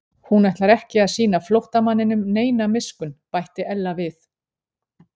Hún ætlar ekki að sýna flóttamanninum neina miskunn bætti Ella við.